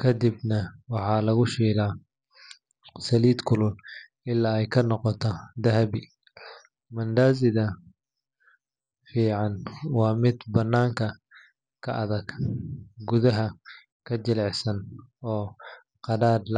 kadibna waxaa lagu shiilaa saliid kulul ilaa ay ka noqdaan dahabi. Mandaazida fiican waa mid bannaanka ka adag, gudaha ka jilicsan oo qadhaadh la’aan ah.